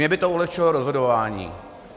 Mně by to ulehčilo rozhodování.